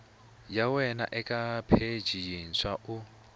wana eka pheji yintshwa u